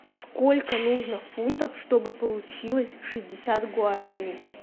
сколько нужно фунтов чтобы получилось шестьдесят гуараней